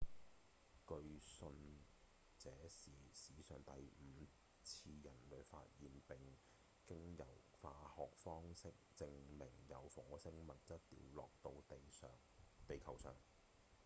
據信這是史上第五次人類發現並經由化學方式證明有火星物質掉落到地球上